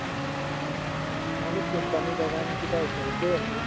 আমাৰটো company ৰ বাগানকিটা ওচৰতে আছে।